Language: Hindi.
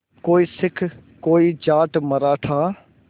कोई सिख कोई जाट मराठा